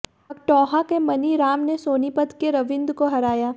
अकठौंहा के मनीराम ने सोनीपत के रविंद्र को हराया